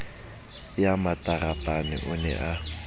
ya matarapane o ne a